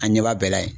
A ɲɛ b'a bɛɛ la yen